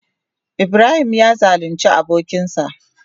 Ibrahim ya zalunce abokansa.